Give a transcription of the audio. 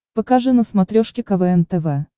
покажи на смотрешке квн тв